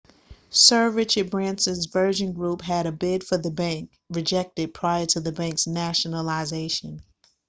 sir richard branson's virgin group had a bid for the bank rejected prior to the bank's nationalisation